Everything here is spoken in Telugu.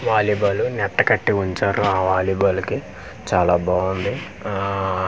వాలీబాలు నెట్ట కట్టి వుంచారు ఆ వాలిబాలుకి చాలా బావుంది ఆఆఆ కొంత--